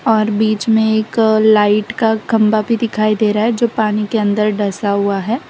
और बीच में एक लाइट का खंबा भी दिखाई दे रहा है जो पानी के अंदर दसा हुआ है।